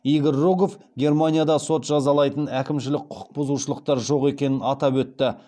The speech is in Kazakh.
игорь рогов германияда сот жазалайтын әкімшілік құқық бұзушылықтар жоқ екенін атап өтті